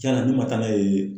Cɛn na n'u ma taa n'a ye